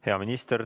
Hea minister!